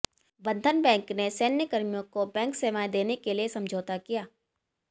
बंधन बैंक ने सैन्यकर्मियों को बैंक सेवाएं देने के लिये समझौता किया